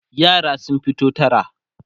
yara sun fito tara